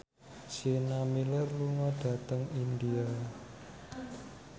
Sienna Miller lunga dhateng India